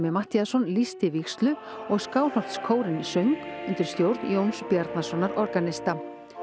Matthíasson lýsti vígslu og söng undir stjórn Jóns Bjarnasonar organista